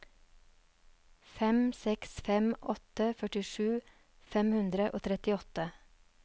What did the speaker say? fem seks fem åtte førtisju fem hundre og trettiåtte